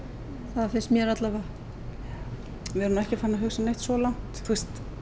það finnst mér allavega við erum ekki komnar svo langt